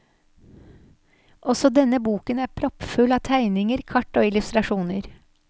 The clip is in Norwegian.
Også denne boken er proppfull av tegninger, kart og illustrasjoner.